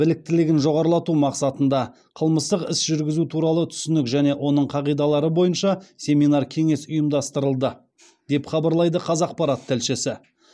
біліктілігін жоғарылату мақсатында қылмыстық іс жүргізу туралы түсінік және оның қағидалары бойынша семинар кеңес ұйымдастырылды деп хабарлайды қазақпарат тілшісі